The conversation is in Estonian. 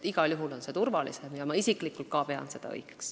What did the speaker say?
Igal juhul on see praegune valik turvalisem ja ka mina isiklikult pean seda õigeks.